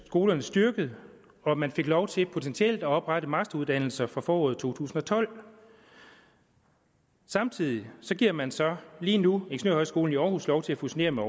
skolerne styrket og man fik lov til potentielt at oprette masteruddannelser fra foråret to tusind og tolv samtidig giver man så lige nu ingeniørhøjskolen i århus lov til at fusionere med